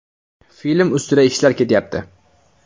Film ustida ishlar ketyapti.